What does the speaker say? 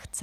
Chce.